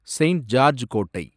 saint George கோட்டை